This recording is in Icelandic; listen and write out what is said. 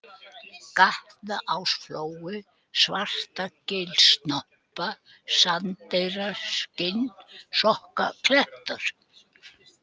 Gatnaásflói, Svartagilssnoppa, Sandeyrar, Skinnsokkaklettar